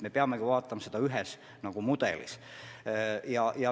Me peame seda vaatama ühe mudelina.